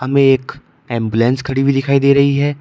हमें एक एंबुलेंस खड़ी हुई दिखाई दे रही है।